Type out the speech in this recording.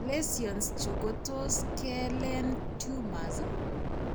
Lesions chu ko tos' ke len tumors.